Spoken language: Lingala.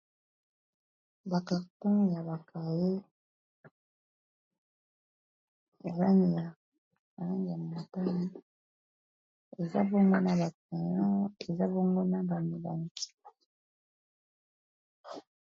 Ba carton ya ba cahier na langi ya motane eza bongo na ba crayon, eza bongo na ba milangi.